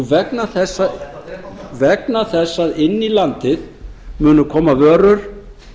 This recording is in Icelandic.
vegna þess að inn í landið munu koma vörur